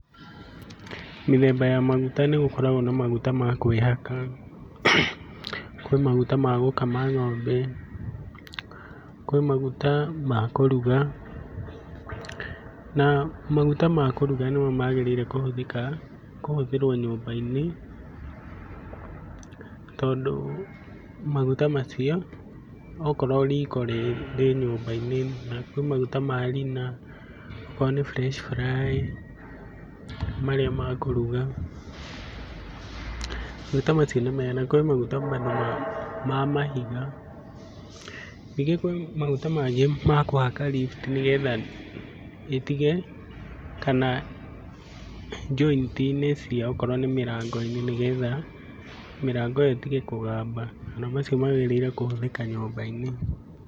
Mĩthemba ya maguta nĩgũkoragwo na maguta ma kwĩhaka, kwĩ maguta ma gũkama ng'ombe, kwĩ maguta ma kũruga, na maguta ma kũruga nĩmo magĩrĩire kũhũthĩka, kũhũthĩrwo nyũmba-inĩ, tondũ maguta macio okorwo riko rĩ rĩ nyũmba-inĩ, na kwĩ maguta ma Rina, akorwo nĩ Fresh Fry marĩa makũruga, maguta macio nĩ mega, na kwĩ maguta bado ma ma mahiga. Ningĩ kwĩ maguta mangĩ ma kũhaka lift nĩgetha ĩtige, kana joint -inĩ cĩayo akorwo nĩ mĩrango-inĩ nĩgetha mĩrango ĩyo ĩtige kũgamba, ona macio magĩrĩire kũhũthĩka nyũmba-inĩ.